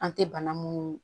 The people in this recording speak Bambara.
An tɛ bana mun